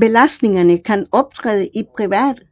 Belastningerne kan optræde i privat